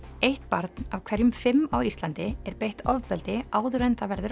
eitt barn af hverjum fimm á Íslandi er beitt ofbeldi áður en það verður